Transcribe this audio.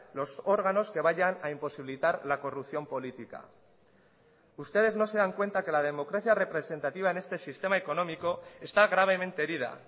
los órganos que vayan a imposibilitar la corrupción política ustedes no se dan cuenta que la democracia representativa en este sistema económico está gravemente herida